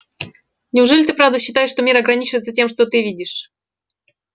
неужели ты правда считаешь что мир ограничивается тем что ты видишь